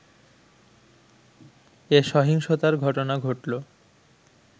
এ সহিংসতার ঘটনা ঘটলো